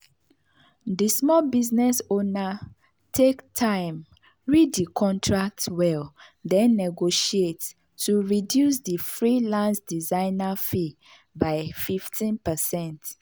the small business owner take time read the contract well then negotiate to reduce the freelance designer fee by 15%.